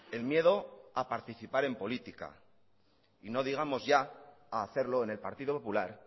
el miedo a participar el política y no digamos ya a hacerlo en el partido popular